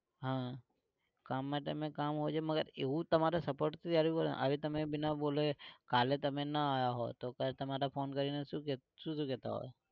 હા કામ ના time એ કામ હોય છે મગર એવું તમારે support આવું તમે બીના બોલે કાલે તમે ના આયા હોય તો તમારા phone કરીને શું કેતા શું શું કેતા હોય